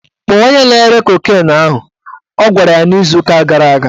Kpọọ onye na-ere kokin ahụ! Ọ gwara ya n'izu ụka gara aga